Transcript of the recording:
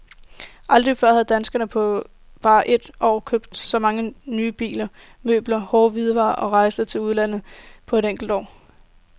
Aldrig før har danskerne på bare et år købt så mange nye biler, møbler, hårde hvidevarer og rejser til udlandet på et enkelt år.